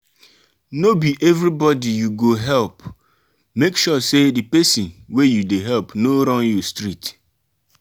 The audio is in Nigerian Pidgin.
no be everybody you go help make sure say the persin wey you de help no run you street